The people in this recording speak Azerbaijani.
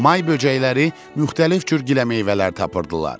May böcəkləri müxtəlif cür giləmeyvələr tapırdılar.